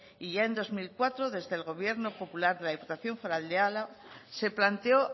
y ya en dos mil cuatro desde el gobierno popular de la diputación foral de álava se planteó